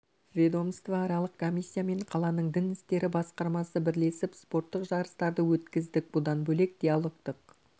ведомство аралық комиссия мен қаланың дін істері басқармасы бірлесіп спорттық жарыстарды өткіздік бұдан бөлек диалогтық